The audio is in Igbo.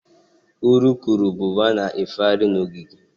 Urukurubụba na-efegharị n'ogige.